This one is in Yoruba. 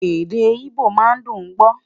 èdè igbó má n dùn gbọ